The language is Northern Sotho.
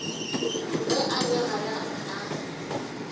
ge a le gare a